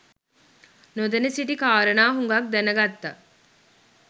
නොදැන සිටි කාරණා හුගක් දැන ගත්ත.